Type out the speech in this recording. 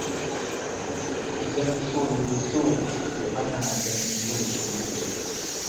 Idan so ya yi so, to hana ganin laifi ya ke.